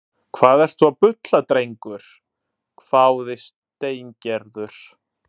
Hvað ertu að bulla drengur? hváði Steingerður.